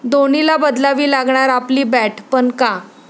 धोनीला बदलावी लागणार आपली बॅट, पण का?